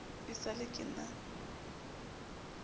e sa le ke na